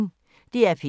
DR P1